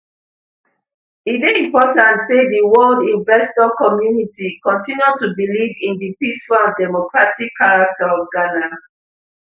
e dey important say di world investor community continue to believe in di peaceful and democratic character of ghana